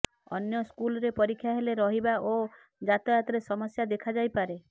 ଅନ୍ୟ ସ୍କୁଲ୍ରେ ପରୀକ୍ଷା ହେଲେ ରହିବା ଓ ଯାତାୟାତରେ ସମସ୍ୟା ଦେଖାଯାଇପାରେ